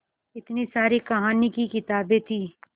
इतनी सारी कहानी की किताबें थीं